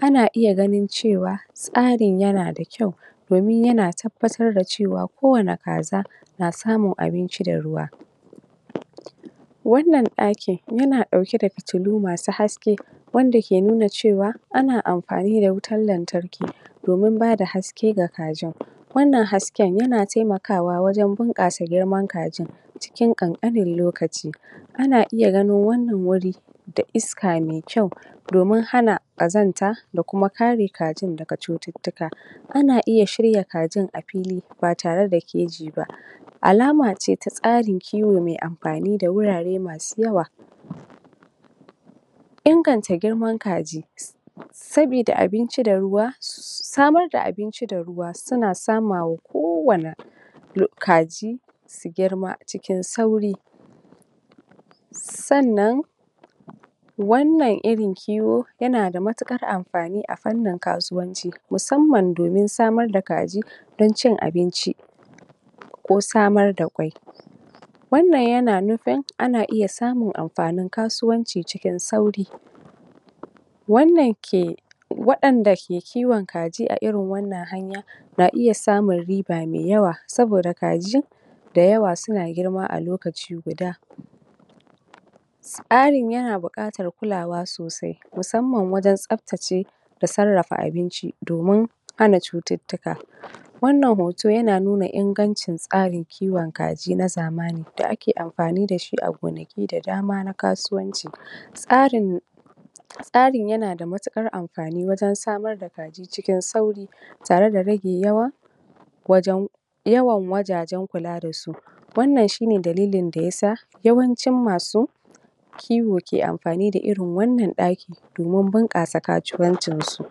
Ana iya ganin cewa, tsarin yana da kyau, domin yana tabbatr da cewa ko wani kaza, na samun abinci da ruwa. Wannan ɗakin, yana ɗauke da fitillu masu haske, wanda ke nuna cewa ana amfani da wutan lantarki, domin bada haske ga kajin. Wannan hasken, yana taimakawa wajan bunƙasa girman kajin, cikin ƙanƙanin lokaci. Ana iya ganin wannan wuri da iska mai kyau, domin hana ƙazanta, da kuma ka re kajin daga cututtuka. Ana iya shirya kajin a fili, ba tare da keji ba, alama ce ta tsarin kiwo da wurare masu yawa. Inganta girman kaji sabida abinci da ruwa, samar da abinci da ruwa suna samawa ko wani kaji su girma cikin sauƙi. Sannan, wannan irin kiwo, yana da matuƙar amfani a fannin kasuwanci, musamman domin samar da kaji don cin abinci, ko samar da ƙwai. Wannan yana nufin, ana iya samun amfanin kasuwanci cikin sauri. Wannan ke waɗan da ke kiwon kaji a irin wannan hanya, na iya samun riba mai yawa, saboda kaji da yawa suna girma a lokaci guda. Tsarin yana buƙatar kulawa sosai, musamman wajan tsaftace da sarrafa abinci, domin hana cututtuka. Wannan hoto yana nuna ingancin tsarin kiwon kaji na zamaːni, da ake amfani dashi a gonaki da dama na kasuwanci. Tsarin tsarin yana da matuƙar amfani wajan samar da kaji cikin sauri, tare da rage yawan wajan yawan wajajen kula da su. Wannan shine dalilin da yasa, yawancin masu kiwo ke amfani da irin wannan ɗakin, domin bunƙasa kasuwancin su.